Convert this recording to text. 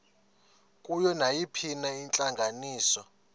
kuyo nayiphina intlanganiso